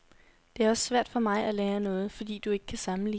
Det er også svært for mig at lære noget, fordi du ikke kan sammenligne.